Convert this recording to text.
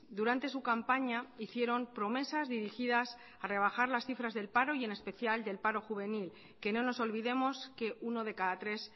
durante su campaña hicieron promesas dirigidas a rebajar las cifras del paro y en especial del paro juvenil que no nos olvidemos que uno de cada tres